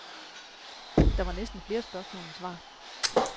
Der var næsten flere spørgsmål end svar.